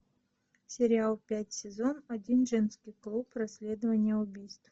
сериал пять сезон один женский клуб расследование убийств